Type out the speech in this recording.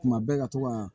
Kuma bɛɛ ka to ka